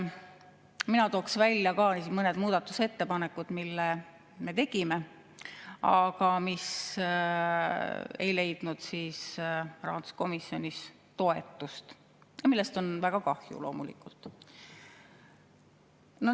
Mina tooksin välja ka mõned muudatusettepanekud, mille me tegime, aga mis ei leidnud rahanduskomisjonis toetust, millest on loomulikult väga kahju.